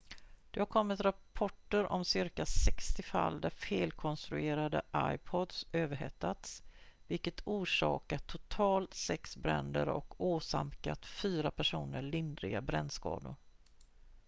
det har kommit rapporter om cirka 60 fall där felkonstruerade ipods överhettats vilket orsakat totalt sex bränder och åsamkat fyra personer lindriga brännskador